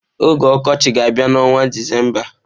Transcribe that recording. Oge ọkọchị ga-abịa n'ọnwa Disemba.